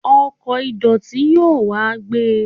ọkò ìdòtí yóò wá gbé